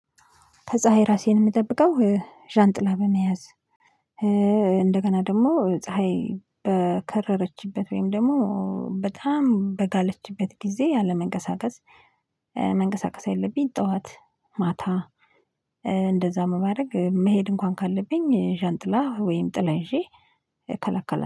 ከፀሀይ ራሴን የምጠብቀው ዣንጥላ በመያዝ እንደገና ደግሞ ፀሀይ በከረረችበት ወይም ደግሞ በጣም በጋለችበት ጊዜ አለመንቀሳቀስ። መንቀሳቀስ ያለብኝ ጠዋት ማታ። እንደዛ በማድረግ መሄድ እንኳን ካለብኝ ዣንጥላ ወይም ጥላ ይዤ እከላከላለሁ